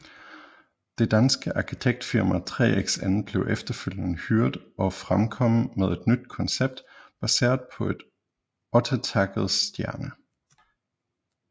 Det danske arkitektfirma 3XN blev efterfølgende hyret og fremkom med et nyt koncept baseret på et ottetakket stjerne